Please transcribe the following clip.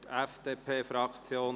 – Für die FDP-Fraktion: